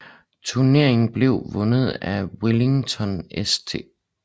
Turneringen blev vundet af Wellington St